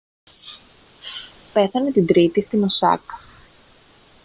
πέθανε την τρίτη στην οσάκα